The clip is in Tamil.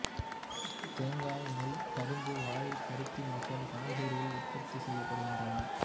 தேங்காய் நெல் கரும்பு வாழை பருத்தி மற்றும் காய்கறிகள் உற்பத்தி செய்யப்படுகின்றன